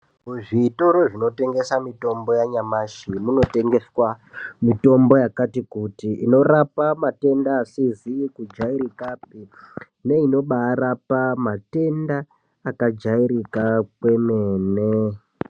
Muzvitoro zvinotengesa mitombo yanyamashi munotengeswa mitombo yakati kuti inorapa matenda asizi kujairika pi neinobarapa matenda akajairika kwemene.